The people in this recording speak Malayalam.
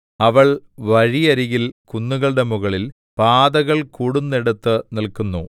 അവൾ വഴിയരികിൽ കുന്നുകളുടെ മുകളിൽ പാതകൾ കൂടുന്നേടത്ത് നില്ക്കുന്നു